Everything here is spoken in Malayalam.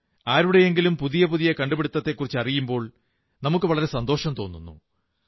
ആരുടെയെങ്കിലും പുതിയ പുതിയ കണ്ടുപിടുത്തത്തെക്കുറിച്ചറിയുമ്പോൾ വളരെ സന്തോഷം തോന്നുന്നു